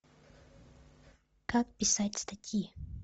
как писать статьи